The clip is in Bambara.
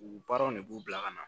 U baaraw de b'u bila ka na